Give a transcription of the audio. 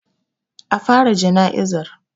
A fara jana'izar.